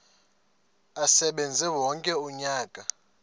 asebenze wonke umnyaka